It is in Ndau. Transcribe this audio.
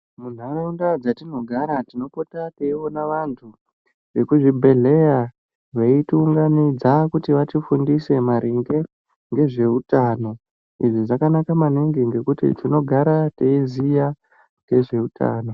Muntaraunda dzetinogara tinopota teiona antu kuzvibhedhleya veitiunganidza kuti vatifundise maringe ngezveutano. Izvi zvakanaka maningi ngekuti tinogara teiziya ngezveutano.